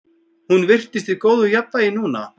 Hún virtist í góðu jafnvægi núna.